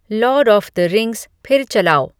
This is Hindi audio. लार्ड ऑफ़ द रिंग्स फिर चलाओ